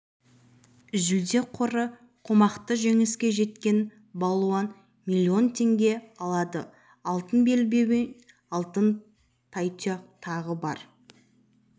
сотталды деп жазады өңірлік диапазон газеті өткен жылғы қыста полицейлер құлдықтан және жастағы екі әйелді